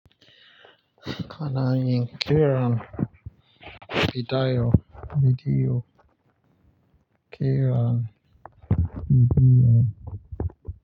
Kana yin keran, si daiyo, bi diyo, keran, bi diyo.